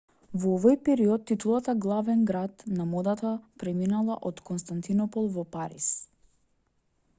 во овој период титулата главен град на модата преминала од константинопол во париз